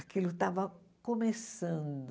Aquilo estava começando.